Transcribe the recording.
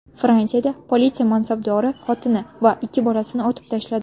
Fransiyada politsiya mansabdori xotini va ikki bolasini otib tashladi.